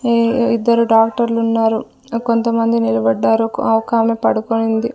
ఈ ఇద్దరు డాక్టర్లు ఉన్నారు కొంతమంది నిలబడారు ఓ ఒకామె పడుకునింది.